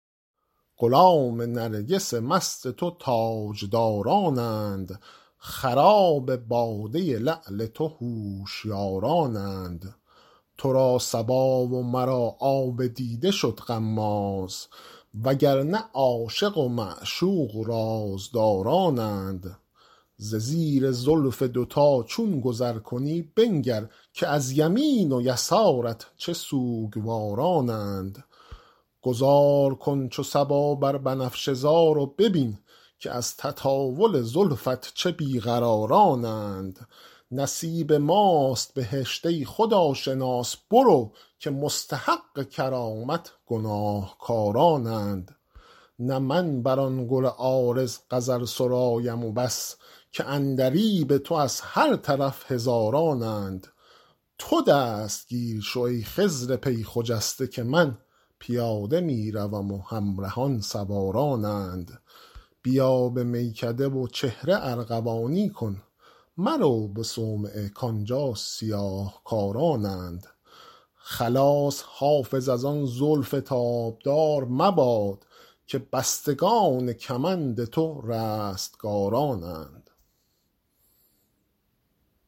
غلام نرگس مست تو تاجدارانند خراب باده لعل تو هوشیارانند تو را صبا و مرا آب دیده شد غماز و گر نه عاشق و معشوق رازدارانند ز زیر زلف دوتا چون گذر کنی بنگر که از یمین و یسارت چه سوگوارانند گذار کن چو صبا بر بنفشه زار و ببین که از تطاول زلفت چه بی قرارانند نصیب ماست بهشت ای خداشناس برو که مستحق کرامت گناهکارانند نه من بر آن گل عارض غزل سرایم و بس که عندلیب تو از هر طرف هزارانند تو دستگیر شو ای خضر پی خجسته که من پیاده می روم و همرهان سوارانند بیا به میکده و چهره ارغوانی کن مرو به صومعه کآنجا سیاه کارانند خلاص حافظ از آن زلف تابدار مباد که بستگان کمند تو رستگارانند